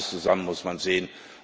Beides zusammen muss man sehen.